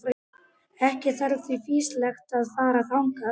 Ekki var því fýsilegt að fara þangað.